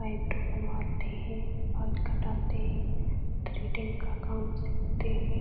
Eyebrow बनवाते हैं बाल कटाते हैं थ्रेडिंग का काम सीखते हैं।